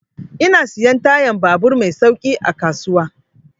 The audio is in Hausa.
Ina siyan tayan babur mai sauƙi a babban kasuwa.